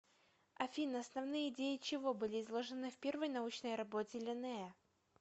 афина основные идеи чего были изложены в первой научной работе линнея